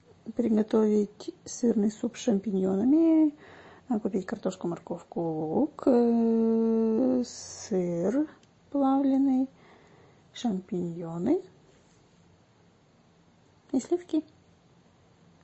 приготовить сырный суп с шампиньонами купить картошку морковку лук сыр плавленный шампиньоны и сливки